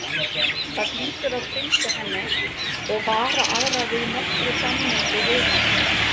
Það hlýtur að fylgja henni og vara aðra við nokkru samneyti við hana.